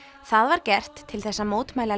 það var gert til þess að mótmæla